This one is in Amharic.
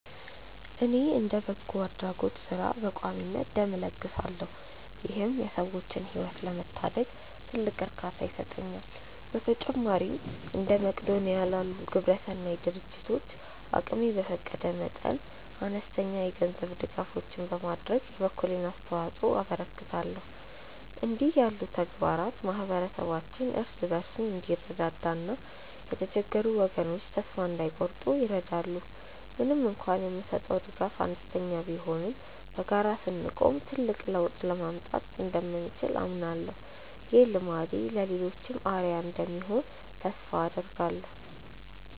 እኔ እንደ በጎ አድራጎት ሥራ በቋሚነት ደም እለግሳለሁ ይህም የሰዎችን ሕይወት ለመታደግ ትልቅ እርካታ ይሰጠኛል። በተጨማሪም እንደ መቅዶንያ ላሉ ግብረሰናይ ድርጅቶች አቅሜ በፈቀደ መጠን አነስተኛ የገንዘብ ድጋፎችን በማድረግ የበኩሌን አስተዋጽኦ አበረክታለሁ። እንዲህ ያሉ ተግባራት ማኅበረሰባችን እርስ በርሱ እንዲረዳዳና የተቸገሩ ወገኖች ተስፋ እንዳይቆርጡ ይረዳሉ። ምንም እንኳን የምሰጠው ድጋፍ አነስተኛ ቢሆንም በጋራ ስንቆም ትልቅ ለውጥ ማምጣት እንደምንችል አምናለሁ። ይህ ልማዴ ለሌሎችም አርአያ እንደሚሆን ተስፋ አደርጋለሁ።